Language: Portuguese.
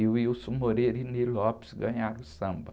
E o e o ganharam o samba.